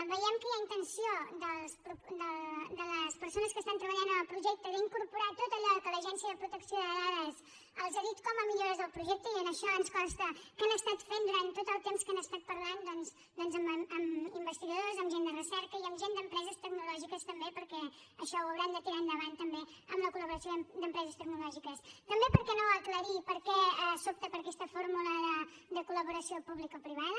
veiem que hi ha intenció de les persones que estan treballant en el projecte d’incorporar tot allò que l’agència de protecció de dades els ha dit com a millores del projecte i això ens consta que han estat fent durant tot el temps que han estat parlant doncs amb investigadors amb gent de recerca i amb gent d’empreses tecnològiques també perquè això ho hauran de tirar endavant també amb la col·també per què no aclarir per què s’opta per aquesta fórmula de col·laboració publicoprivada